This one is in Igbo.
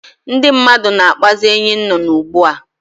Ndị mmadụ na-akpazi enyinnụnụ ugbu a